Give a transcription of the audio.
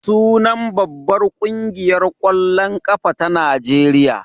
Sunan babbar ƙungiyar ƙwallon ƙafa ta Najeriya.